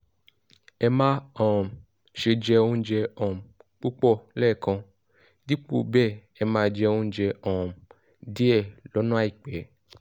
ẹ má um ṣe jẹ oúnjẹ um púpọ̀ lẹ́ẹ̀kan; dípò bẹ́ẹ̀ ẹ máa jẹ oúnjẹ um díẹ̀ lọ́nà àìpẹ́